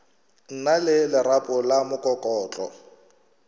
na le lerapo la mokokotlo